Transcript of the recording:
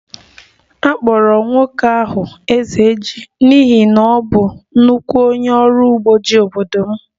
A kpọrọ nwoke ahụ 'Ezeji' n'ihi na ọ bụ nnukwu onye ọrụ ugbo ji n'obodo m